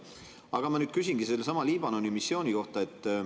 Aga ma nüüd küsingi sellesama Liibanoni missiooni kohta.